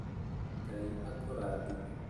Ngai akũrathime